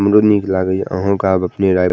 हमरो निक लागे ये अहो के आब अपने राय --